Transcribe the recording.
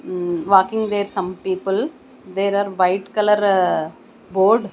mm walking there some people there are white colour board.